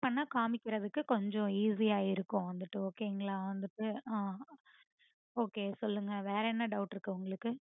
பண்ண காமிக்கறதுக்கு கொஞ்சம் easy ஆ இருக்கும் வந்துட்டு okay ங்களா வந்துட்டு உம் okay சொல்லுங்க வேற என்ன doubt இருக்கு உங்களுக்கு